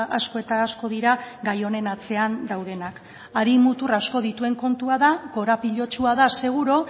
asko eta asko dira gai honen atzean daudenak hari mutur asko dituen kontua da korapilatsua da seguru